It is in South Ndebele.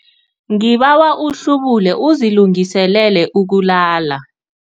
Ngibawa uhlubule uzilungiselele ukulala.